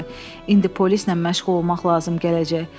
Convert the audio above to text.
İndi polislə məşğul olmaq lazım gələcək.